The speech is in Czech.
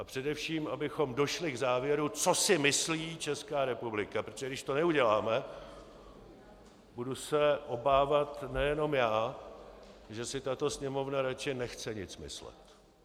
A především, abychom došli k závěru, co si myslí Česká republika, protože když to neuděláme, budu se obávat nejenom já, že si tato Sněmovna radši nechce nic myslet.